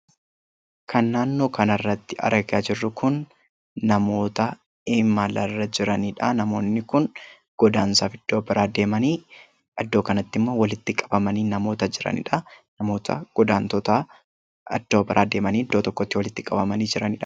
Kan naannoo kanatti argaa jirru kun namoota imalarra jiraniidha. Namoonni kun godaansaaf iddoo biraa deemanii iddoo kanatti immoo walitti qabamanii namoota jiraniidha. Namoota godaantota iddoo biraa deemanii iddoo tokkotti walitti qabamanii jiraniidha.